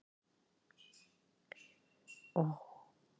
Þau eyðileggja rauð blóðkorn og valda blóðleysi.